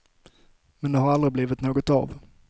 Men det har aldrig blivit något av.